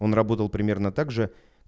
он работает примерно также